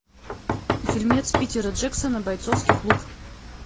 фильмец питера джексона бойцовский клуб